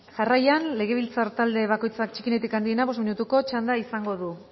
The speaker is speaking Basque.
jarraian legebiltzar talde bakoitzak txikienetik handienera bost minutuko txanda du